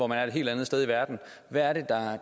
man er et helt andet sted i verden hvad er det